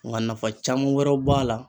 N ka nafa caman wɛrɛw b'a la.